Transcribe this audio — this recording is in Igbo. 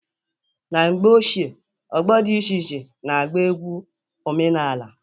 Na mgbe ochie, ọgbọ dị iche iche na-agba egwu omenani.